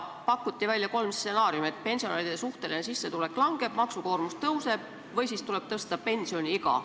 Pakuti välja kolm stsenaariumi: pensionäride suhteline sissetulek langeb, maksukoormus tõuseb või siis tuleb tõsta pensioniiga.